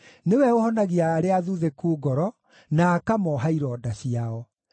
Nĩwe ũhonagia arĩa athuthĩku ngoro, na akamooha ironda ciao.